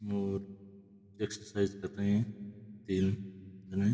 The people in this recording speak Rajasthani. और एक्सरसाइज कर रहे हैं तीन जने --